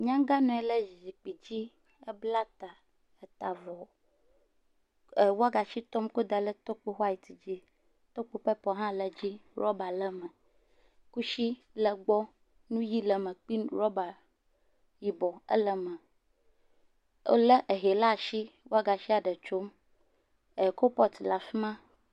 Nyaga nɔ anyi ɖe zikpui dzi, ebla ta ta avɔ, ewagashi tɔm kɔda ɖe tokpo white dzi, tokpo pepel hã le edzi ruba le eme kusi le egbɔ, nu ʋi le eme kple ruba yibɔ le egbɔ wòlé ehe ɖe asi wagashia ɖe tsom kolpɔt le afi ma.